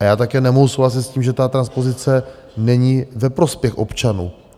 A já také nemohu souhlasit s tím, že ta transpozice není ve prospěch občanů.